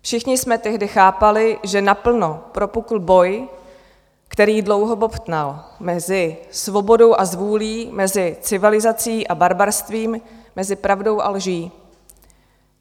Všichni jsme tehdy chápali, že naplno propukl boj, který dlouho bobtnal, mezi svobodou a zvůlí, mezi civilizací a barbarstvím, mezi pravdou a lží.